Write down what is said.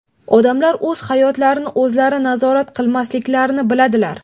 Odamlar o‘z hayotlarini o‘zlari nazorat qilmasliklarini biladilar.